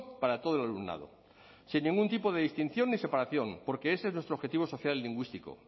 para todo el alumnado sin ningún tipo de distinción ni separación porque ese es nuestro objetivo social y lingüístico